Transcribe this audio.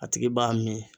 A tigi b'a min